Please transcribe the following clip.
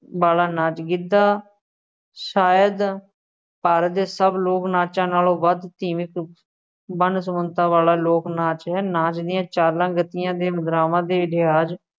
ਵਾਲਾ ਨਾਚ ਗਿੱਧਾ ਸ਼ਾਇਦ ਭਾਰਤ ਦੇ ਸਭ ਲੋਕ ਨਾਚਾਂ ਨਾਲੋਂ ਵੱਧ ਸੀਮਤ ਵੰਨ-ਸੁਵੰਨਤਾ ਵਾਲਾ ਲੋਕ ਨਾਚ ਹੈ, ਨਾਚ ਦੀਆਂ ਚਾਲਾਂ ਗਤੀਆਂ ਅਤੇ ਮੁਦਰਾਵਾਂ ਦੇ ਲਿਹਾਜ਼